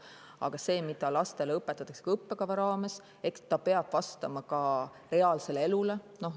Aga eks see, mida lastele õpetatakse õppekava raames, peab vastama ka reaalsele elule.